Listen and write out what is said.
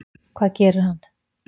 Hvað gerir hann?